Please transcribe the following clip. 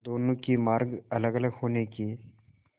दोनों के मार्ग अलगअलग होने के